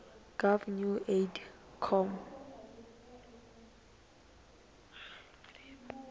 gov new form coid